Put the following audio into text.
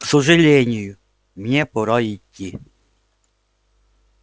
к сожалению мне пора идти